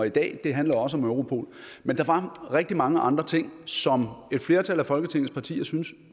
i dag handler også om europol men der var rigtig mange andre ting som et flertal af folketingets partier syntes